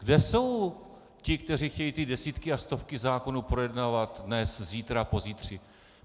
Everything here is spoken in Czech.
Kde jsou ti, kteří chtějí ty desítky a stovky zákonů projednávat dnes, zítra, pozítří?